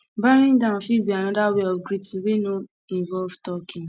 bowing down fit be anoda wey of greeting wey no involve talking